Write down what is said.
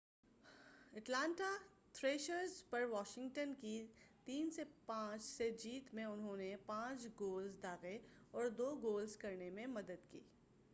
Atlanta Thrashers پر Washington کی 5-3 سے جیت میں انہوں نے 2 گولز داغے اور 2 گول کرنے میں مدد کی